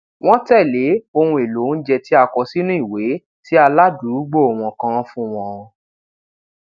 wón tèlé ohun èlò oúnjẹ tí a kọ sínú ìwé tí aládùúgbò wọn kan fún wọn